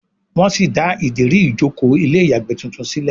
wón sí dá Ìdérí ìjókòó ilé ìyàgbẹ́ títún sílè